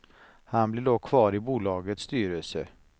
Han blir dock kvar i bolagets styrelse.